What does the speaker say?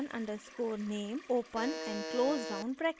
function underscore name open and close round brackets